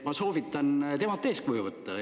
Ma soovitan temalt eeskuju võtta.